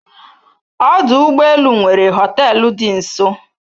Ọdụ ụgbọ elu nwere hoteelu dị nso